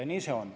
Nii see on.